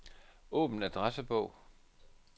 Åbn adressebog.